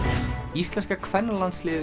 íslenska kvennalandsliðið